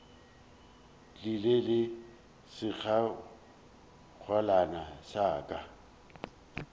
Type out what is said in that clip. tlile le sekgekolwana sa ka